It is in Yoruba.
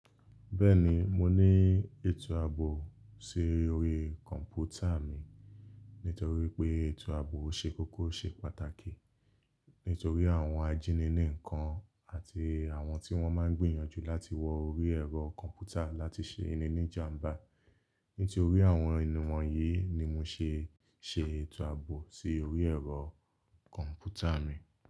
Bẹ́ẹ̀ni mo ní ètò àbò sí orí kọ̀ǹpútà mi. Nítorí pé ètò àbò ṣe kókó ṣe pàtàkì. Nítorí àwọn ajíniníǹkan àti àwọn tí wọ́n máa ń gbìyànjú láti wọ orí ẹ̀rọ kọ̀ǹpútà láti ṣe ininíjàǹbá. Nítorí àwọn ìwọ̀n yìí ni mo ṣe ṣe ètò àbò sí orí ẹ̀rọ kọ̀ǹpútà mi.